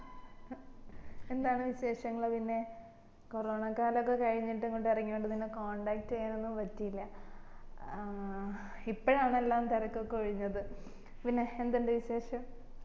എന്താണ് വിശേഷങ്ങള്ള് പിന്നെ കൊറോണ കാലൊക്കെ കഴിഞ്ഞിട്ട് ഇങ്ങട്ട് ഇറങ്ങിയോണ്ട് നിന്നെ contact ചെയ്യാനൊന്നും പറ്റിയില്ല ആഹ് ഇപ്പഴാന്ന്എല്ലാം തെരക്കൊക്കെ ഒഴിഞ്ഞത് പിന്നെ എന്തിണ്ട് വിശേഷം